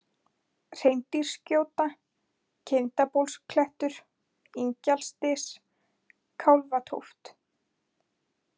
Hreindýrsgjóta, Kindabólsklettur, Ingjaldsdys, Kálfatóft